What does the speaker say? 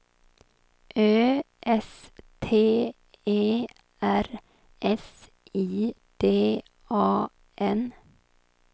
Ö S T E R S I D A N